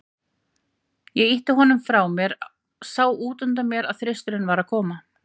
Ég ýtti honum frá mér, sá útundan mér að Þristurinn var að koma.